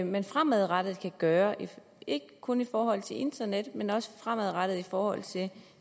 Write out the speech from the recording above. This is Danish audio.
man fremadrettet kan gøre ikke kun i forhold til internettet men også fremadrettet i forhold til